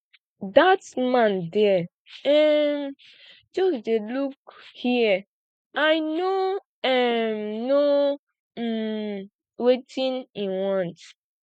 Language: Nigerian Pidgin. that man there um just dey look here i no um know um wetin he want